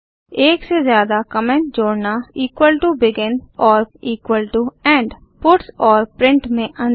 एक से ज्यादा कमेंट जोड़ना begin और end पट्स और प्रिंट में अंतर